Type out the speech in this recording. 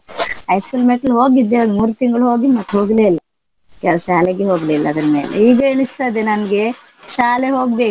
High school ಮೆಟ್ಲು ಹೋಗಿದ್ದೆ ಒಂದ್ ಮೂರ್ ತಿಂಗ್ಳು ಹೋಗಿ ಮತ್ ಹೋಗ್ಲೇ ಇಲ್ಲ. ಕೆಲ್ಸ~ ಶಾಲೆಗೆ ಹೋಗ್ಲಿಲ್ಲ ಅದ್ರ್ ಮೇಲೆ ಈಗ ಎನಿಸ್ತದೆ ನಮ್ಗೆ ಶಾಲೆ ಹೋಗ್ಬೇಕು.